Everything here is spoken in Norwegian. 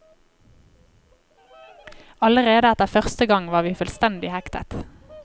Allerede etter første gang var vi fullstendig hektet.